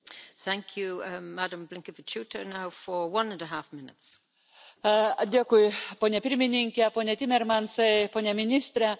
Ponia pirmininke, pone Timmermansai, pone ministre, Europos vadovų susitikimas bus svarbus dėl naujosios metinės finansines perspektyvos.